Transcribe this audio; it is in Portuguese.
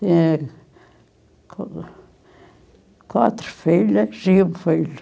quatro filhas e um filho.